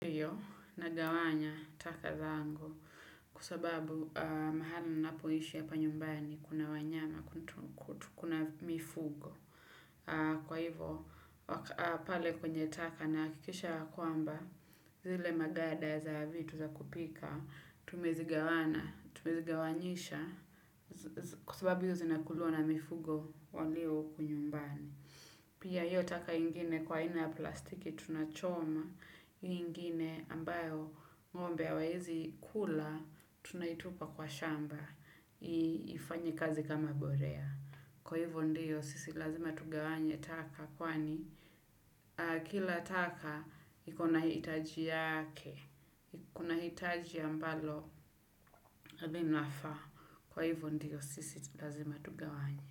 Na gawanya taka za ango kwa sababu mahali ninapoishi hapa nyumbani kuna wanyama, kuna mifugo. Kwa hivyo, pale kwenye taka na hakikisha kwamba zile maganda za vitu za kupika, tumezigawana, tumezigawanyisha kwa sababu hizo zinakuliwa na mifugo walio uku nyumbani. Pia hiyo taka ingine kwa hina ya plastiki tunachoma, hiyo ingine ambayo ngombe hawawezi kula tunaitupa kwa shamba, ifanye kazi kama mbolea. Kwa hivyo ndio sisi lazima tugawanya taka kwani kila taka ikona hitaji lake, kuna hitaji ambalo linafa. Kwa hivyo ndiyo sisi lazima tugawanya.